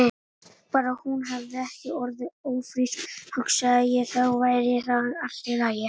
Bara að hún hefði ekki orðið ófrísk, hugsaði ég, þá væri þetta allt í lagi.